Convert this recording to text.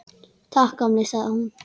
Takk, gamli, sagði hún.